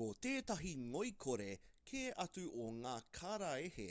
ko tētahi ngoikore kē atu o ngā karaehe